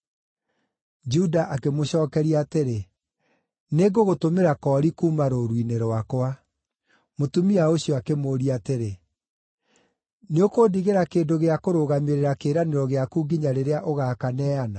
Juda akĩmũcookeria atĩrĩ, “Nĩngũgũtũmĩra koori kuuma rũũru-inĩ rwakwa.” Mũtumia ũcio akĩmũũria atĩrĩ, “Nĩũkũndigĩra kĩndũ gĩa kũrũgamĩrĩra kĩĩranĩro gĩaku nginya rĩrĩa ũgaakaneana?”